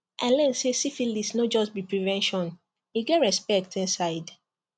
i learn say syphilis no just be prevention e get respect inside